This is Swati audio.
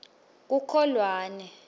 kukholwane